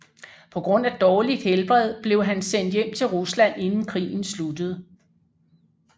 På grund af dårligt helbred blev han sendt hjem til Rusland inden krigen sluttede